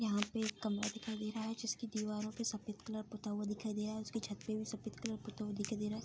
यहाँ पे एक कमरा दिखाई दे रहा है जिसकी दीवारों पे सफ़ेद कलर पूता हुआ दिखाई दे रहा है उसके छत पे भी सफ़ेद कलर पूता हुआ दिखाई दे रहा है।